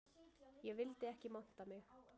Ég vildi ekki monta mig